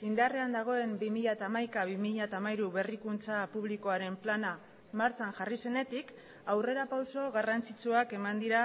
indarrean dagoen bi mila hamaika bi mila hamairu berrikuntza publikoaren plana martxan jarri zenetik aurrerapauso garrantzitsuak eman dira